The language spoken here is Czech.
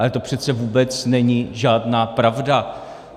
Ale to přece vůbec není žádná pravda.